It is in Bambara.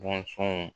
Bɔnsɔnw